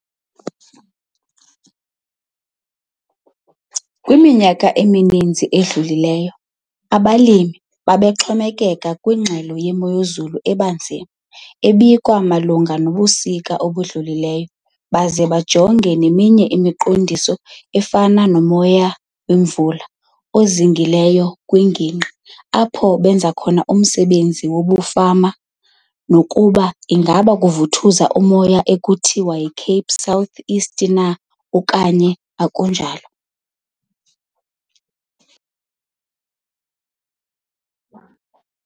Kwiminyaka emininzi edlulileyo abalimi bebexhomekeka kwingxelo yemozulu ebanzi enikwa malunga nobusuku obudlulileyo baze bajonge neminye imiqondiso efana 'nomoya wemvula' ozingileyo kwingingqi apho benza khona umsebenzi wobufama nokuba ingaba kuvuthuza umoya ekuthiwa yiCape South Easter na okanye akunjalo.